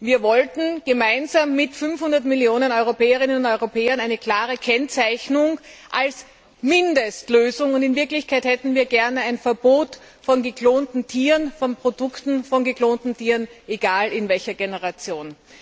Wir wollten gemeinsam mit 500 Millionen Europäerinnen und Europäern eine klare Kennzeichnung als Mindestlösung, und in Wirklichkeit hätten wir gerne ein Verbot von geklonten Tieren, von Produkten von geklonten Tieren, egal in welcher Generation.